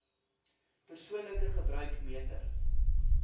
persoonlike gebruik meter